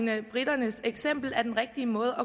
i at briternes eksempel er den rigtige måde